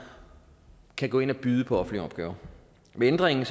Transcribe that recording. kan gå ind og byde på offentlige opgaver med ændringen